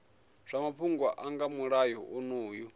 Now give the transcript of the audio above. zwa mafhungo nga mulayo onoyu